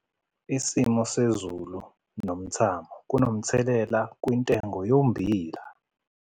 Isimo sezulu nomthamo kunomthelela kwintengo yommbila